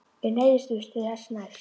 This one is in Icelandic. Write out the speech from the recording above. Ég neyðist víst til þess næst.